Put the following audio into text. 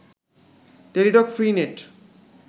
Teletalk free net